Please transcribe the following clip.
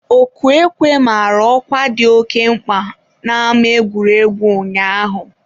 ọkụ ekwe mara ọkwa dị oke mkpa n'ama egwuregwu ụnyaahụ.